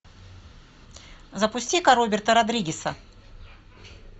запусти ка роберта родригеса